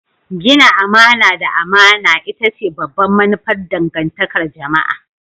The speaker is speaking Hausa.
Gina amana da amana ita ce babbar manufar dangantakar jama'a.